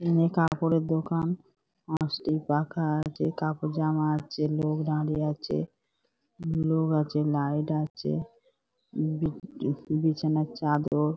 এনে কাপড়ের দোকান আসতি পাখা আছে কাপড় জামা আছে লোক দাঁড়িয়ে আছে লোক আছে লাইট আছে বিছানার চাদর--